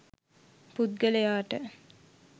පුද්ගලයාට